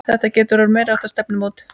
Þetta getur orðið meiriháttar stefnumót!